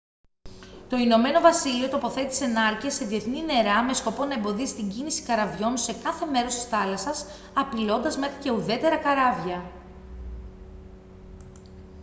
το ηνωμένο βασίλειο τοποθέτησε νάρκες σε διεθνή νερά με σκοπό να εμποδίσει την κίνηση καραβιών σε κάθε μέρος της θάλασσας απειλώντας μέχρι και ουδέτερα καράβια